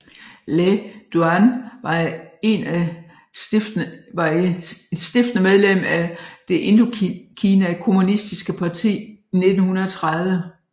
Lê Duẩn var en af stiftende medlem af Det Indokina Kommunistiske Parti i 1930